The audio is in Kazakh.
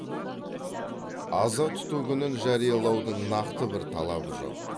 аза тұту күнін жариялаудың нақты бір талабы жоқ